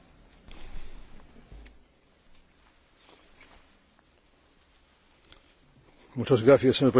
Mr President, honourable Members, thank you for this opportunity to address you.